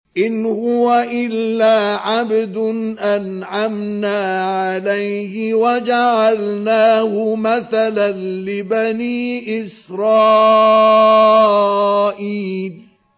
إِنْ هُوَ إِلَّا عَبْدٌ أَنْعَمْنَا عَلَيْهِ وَجَعَلْنَاهُ مَثَلًا لِّبَنِي إِسْرَائِيلَ